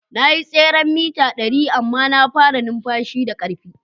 Na yi tseren mita dari amma na fara numfashi da karfi.